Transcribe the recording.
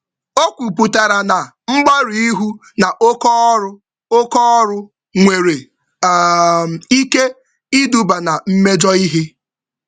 Okwuputara na mgbarụ-ihu na oké ọrụ, oké ọrụ, nwere um ike iduba na mmejọ ihe